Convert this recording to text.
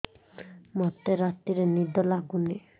ମୋତେ ରାତିରେ ନିଦ ଲାଗୁନି